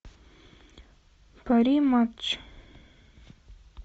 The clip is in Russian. пари матч